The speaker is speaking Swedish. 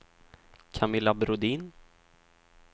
Camilla Brodin